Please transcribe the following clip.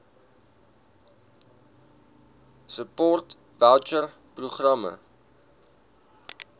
support voucher programme